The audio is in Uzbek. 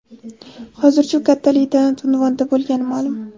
Hozircha u katta leytenant unvonida bo‘lgani ma’lum.